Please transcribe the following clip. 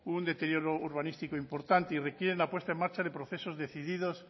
un deterioro urbanístico importante y requieren la puesta en marcha de procesos decididos